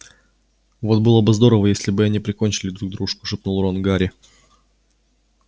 вот было бы здорово если бы они прикончили друг дружку шепнул рон гарри